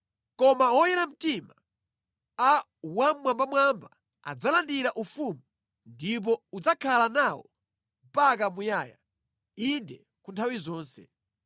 Koma oyera mtima a Wammwambamwamba adzalandira ufumu ndipo udzakhala nawo mpaka muyaya, inde ku nthawi zonse.’